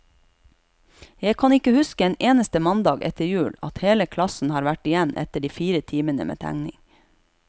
Jeg kan ikke huske en eneste mandag etter jul, at hele klassen har vært igjen etter de fire timene med tegning.